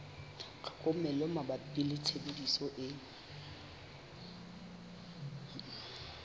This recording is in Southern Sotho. tlhokomelo mabapi le tshebediso e